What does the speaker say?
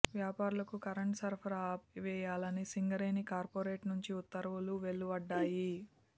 వ్యాపారులకు కరెంటు సరఫరా ఆపివేయాలని సింగరేణి కార్పొరేట్ నుంచి ఉత్తర్వులు వెలువెడ్డాయి